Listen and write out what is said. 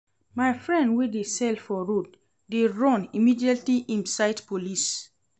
My friend wey dey sell for road dey run immediately im sight police.